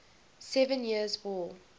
seven years war